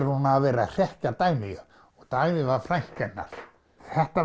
hún hafi verið að hrekkja Dagnýju Dagný var frænka hennar þetta